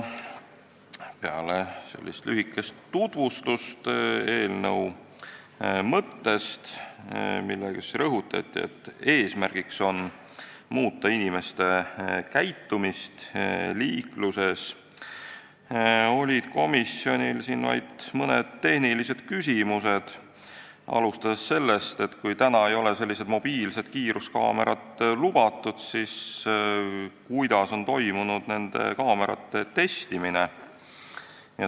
Peale eelnõu mõtte lühikest tutvustust, millega rõhutati, et eesmärk on muuta inimeste käitumist liikluses, olid komisjonis arutelul vaid mõned tehnilised küsimused, alustades sellest, et kui praegu ei ole mobiilsed kiiruskaamerad lubatud, siis kuidas on toimunud nende kaamerate testimine.